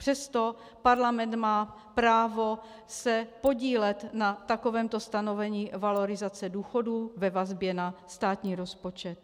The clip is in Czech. Přesto Parlament má právo se podílet na takovémto stanovení valorizace důchodů ve vazbě na státní rozpočet.